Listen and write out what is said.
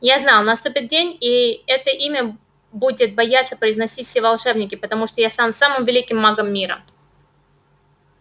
я знал наступит день и это имя будет бояться произносить все волшебники потому что я стану самым великим магом мира